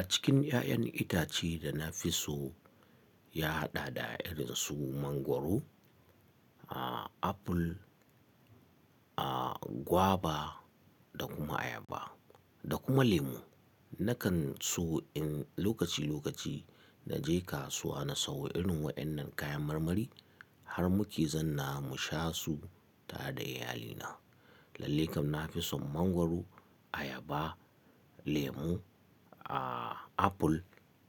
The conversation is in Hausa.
A cikin 'ya'yan itace da na fi so ya hada da irin su Mangwaro, a, Apple, a, Guava da kuma Ayaba da kuma Lemo. Nakan so in lokaci-lokaci na je kasuwa na sayo irin waɗannan kayan marmarin har muke zanna mu sha su tare da iyalina. Lallai kam na fi son Mangwaro, Ayaba, Lemo, a, Apple